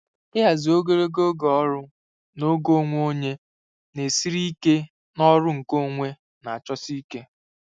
Ịhazi ogologo oge ọrụ na oge onwe onye na-esiri ike n'ọrụ nkeonwe na-achọsi ike.